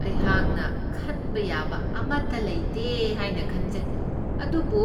ꯑꯩꯍꯥꯛꯅ ꯈꯟꯕ ꯌꯥꯕ ꯑꯃꯇ ꯂꯩꯇꯦ ꯍꯥꯏꯅ ꯈꯟꯖꯩ, ꯑꯗꯨꯕꯨ